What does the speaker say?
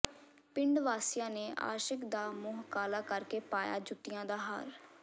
ਪਿੰਡ ਵਾਸੀਆਂ ਨੇ ਆਸ਼ਿਕ ਦਾ ਮੂੰਹ ਕਾਲਾ ਕਰ ਕੇ ਪਾਇਆ ਜੁੱਤੀਆਂ ਦਾ ਹਾਰ